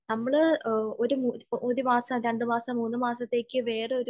നമ്മള് ഒരു മാസം രണ്ടു മാസം മൂന്നു മാസത്തേക്ക് വേറൊരു